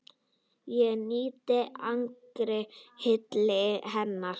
Ég nýt engrar hylli hennar!